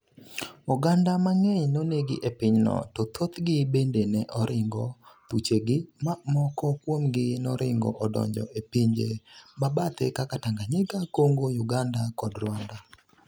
oganda mang'eny nonegi e piny no to thoth gi bende ne oringo thuchegi ma moko kuomgi noringo odonjo e pinje mabathe kaka Tanganyika, Congo, Uganda kod Rwanda